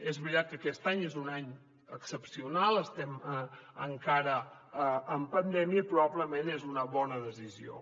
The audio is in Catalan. és veritat que aquest any és un any excepcional estem encara en pandèmia i probablement és una bona decisió